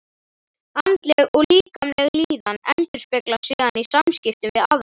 Andleg og líkamleg líðan endurspeglast síðan í samskiptum við aðra.